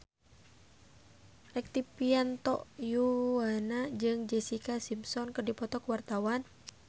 Rektivianto Yoewono jeung Jessica Simpson keur dipoto ku wartawan